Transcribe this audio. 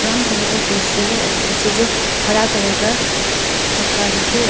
Colour का कुर्सी है और पिछे जो हरा कलर का पत्ता लोग है।